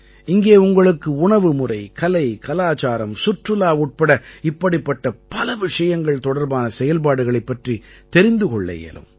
இங்கே உங்களுக்கு உணவுமுறை கலை கலாச்சாரம் சுற்றுலா உட்பட இப்படிப்பட்ட பல விஷயங்கள் தொடர்பான செயல்பாடுகளைப் பற்றித் தெரிந்து கொள்ள இயலும்